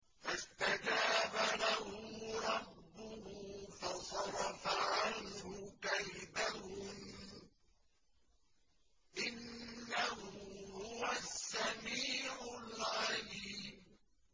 فَاسْتَجَابَ لَهُ رَبُّهُ فَصَرَفَ عَنْهُ كَيْدَهُنَّ ۚ إِنَّهُ هُوَ السَّمِيعُ الْعَلِيمُ